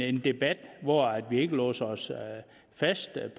en debat hvor vi ikke låser os fast